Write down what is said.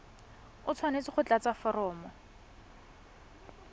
o tshwanetse go tlatsa foromo